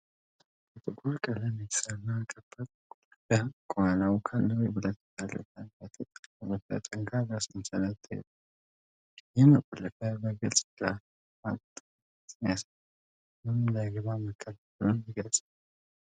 በጥቁር ቀለም የተሠራ ከባድ መቆለፊያ፣ ከኋላው ካለው የብረት በር ጋር በተጠላለፈ ጠንካራ ሰንሰለት ተይዟል። ይህ መቆለፊያ በግልጽ ፍርሃትን እና ጥንቃቄን ያሳያል፤ ምንም እንዳይገባ መከልከሉን ይገልጻል።